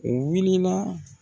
U wulila.